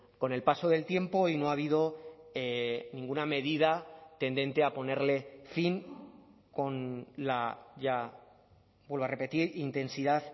con el paso del tiempo y no ha habido ninguna medida tendente a ponerle fin con la ya vuelvo a repetir intensidad